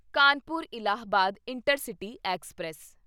Kanpur Allahabad intercity express